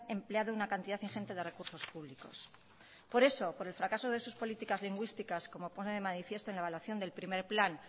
empleado una cantidad ingente de recursos públicos por eso por el fracaso de sus políticas lingüísticas como pone de manifiesto en la evaluación del primero plan